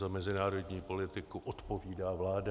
Za mezinárodní politiku odpovídá vláda.